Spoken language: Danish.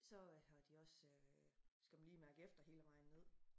Så øh har de også øh skal man lige mærke efter hele vejen ned